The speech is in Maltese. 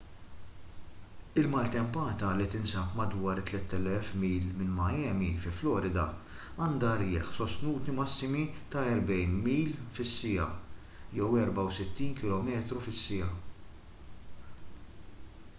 il-maltempata li tinsab madwar 3,000 mil minn miami fi florida għandha irjieħ sostnuti massimi ta' 40 mph 64 kph